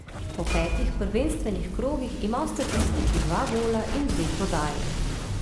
Po petih prvenstvenih krogih ima v statistiki dva gola in dve podaji.